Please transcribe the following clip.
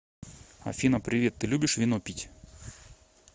афина привет ты любишь вино пить